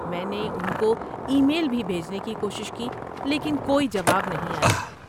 میں نے ان کو ای میل بھی بھیجنے کی کوشش کی لیکن کوئی جواب نہیں آیا۔